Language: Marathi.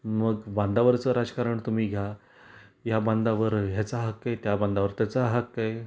मग बांधावरचं राजकारण तुम्ही घ्या. या बांधावर याचा हक्क आहे, त्या बांधावर त्याचा हक्क आहे.